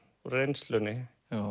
reynslunni